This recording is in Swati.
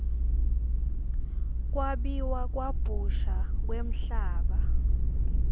kwabiwa kabusha kwemhlaba